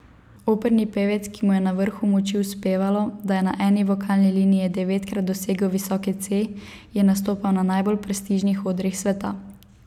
Operni pevec, ki mu je na vrhu moči uspevalo, da je na eni vokalni liniji devetkrat dosegel visoki C, je nastopal na najbolj prestižnih odrih sveta.